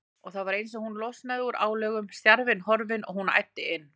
Og það var eins og hún losnaði úr álögum, stjarfinn horfinn, og hún æddi inn.